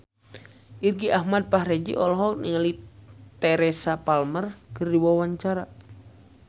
Irgi Ahmad Fahrezi olohok ningali Teresa Palmer keur diwawancara